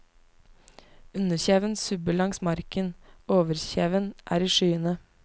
Underkjeven subber langs marken, overkjeven er i skyene.